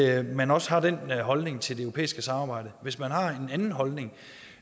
at man også har den holdning til det europæiske samarbejde hvis man har en anden holdning